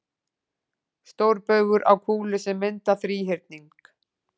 Stórbaugar á kúlu sem mynda þríhyrning.